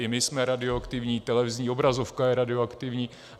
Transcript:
I my jsme radioaktivní, televizní obrazovka je radioaktivní.